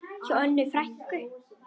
Hjá Önnu frænku.